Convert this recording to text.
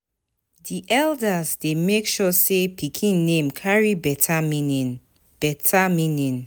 Di eldas dey make sure sey pikin name carry beta meaning. beta meaning.